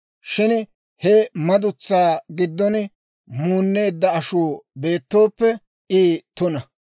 Shin he madutsaa giddon muunneedda ashuu beettooppe I tuna.